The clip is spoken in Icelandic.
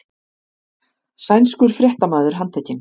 Sænskur fréttamaður handtekinn